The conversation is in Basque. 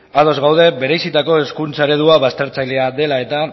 ados gaude bereizitako hezkuntza eredua baztertzailea dela eta